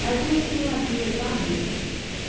Mas um sim assim, sabe?